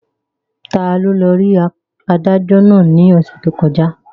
Taló lọ rí adájọ́ náà ní ọ̀sẹ̀ tó kọjá?